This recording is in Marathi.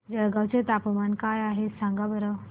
जळगाव चे तापमान काय आहे सांगा बरं